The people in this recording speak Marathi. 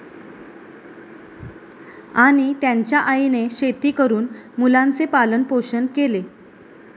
आणि त्यांच्या आईने शेती करून मुलांचे पालनपोषण केले.